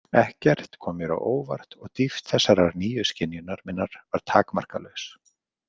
Ekkert kom mér á óvart og dýpt þessarar nýju skynjunar minnar var takmarkalaus.